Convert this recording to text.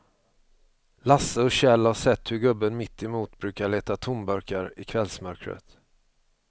Lasse och Kjell har sett hur gubben mittemot brukar leta tomburkar i kvällsmörkret.